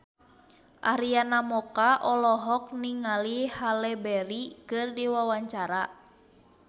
Arina Mocca olohok ningali Halle Berry keur diwawancara